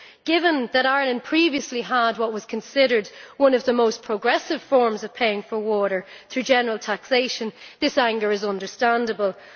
Given that Ireland previously had what was considered one of the most progressive forms of paying for water, through general taxation, this anger is understandable.